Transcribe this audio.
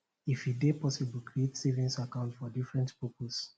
if e dey possible create savings account for different purposes